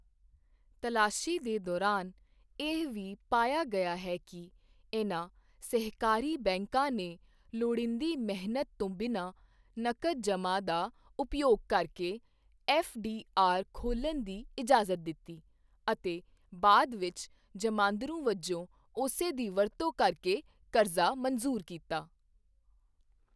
ਤਲਾਸ਼ੀ ਦੇ ਦੌਰਾਨ, ਇਹ ਵੀ ਪਾਇਆ ਗਿਆ ਹੈ ਕਿ ਇਨ੍ਹਾਂ ਸਹਿਕਾਰੀ ਬੈਂਕਾਂ ਨੇ ਲੋੜੀਂਦੀ ਮਿਹਨਤ ਤੋਂ ਬਿਨਾਂ ਨਕਦ ਜਮ੍ਹਾਂ ਦਾ ਉਪਯੋਗ ਕਰਕੇ ਐੱਫਡੀਆਰ ਖੋਲ੍ਹਣ ਦੀ ਇਜਾਜ਼ਤ ਦਿੱਤੀ ਅਤੇ ਬਾਅਦ ਵਿੱਚ ਜਮਾਂਦਰੂ ਵਜੋਂ ਉਸੇ ਦੀ ਵਰਤੋਂ ਕਰਕੇ ਕਰਜ਼ਾ ਮਨਜ਼ੂਰ ਕੀਤਾ।